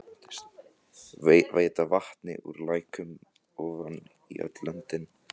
Veita vatni úr læknum ofan í öll löndin.